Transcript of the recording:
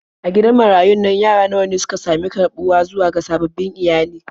A gidan marayun nan yara nawa ne suka sami karɓuwa zuwa ga sababbin iyali.